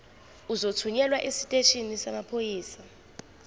uzothunyelwa esiteshini samaphoyisa